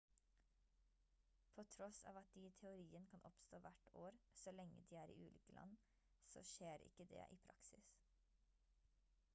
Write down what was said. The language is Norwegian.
på tross av at de i teorien kan oppstå hvert år så lenge de er i ulike land så skjer ikke det i praksis